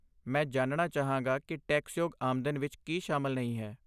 ਮੈਂ ਜਾਣਣਾ ਚਾਹਾਂਗਾ ਕਿ ਟੈਕਸਯੋਗ ਆਮਦਨ ਵਿੱਚ ਕੀ ਸ਼ਾਮਲ ਨਹੀਂ ਹੈ।